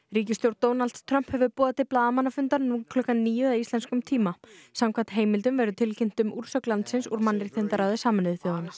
ríkisstjórn Donalds Trump hefur boðað til blaðamannafundar nú klukkan níu að íslenskum tíma samkvæmt heimldum verður tilkynnt um úrsögn landsins úr mannréttindaráði Sameinuðu þjóðanna